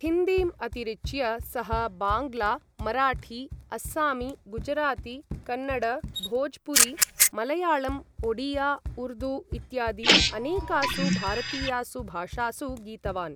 हिन्दीम् अतिरिच्य, सः बाङ्ग्ला, मराठी, अस्सामी, गुजराती, कन्नड, भोजपुरी, मलयाळम्, ओडिया, उर्दू इत्यादि अनेकासु भारतीयासु भाषासु गीतवान्।